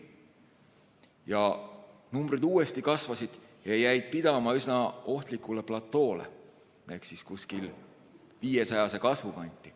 Ja numbrid uuesti kasvasid ja jäid pidama üsna ohtlikule platoole ehk kuskile 500 kanti.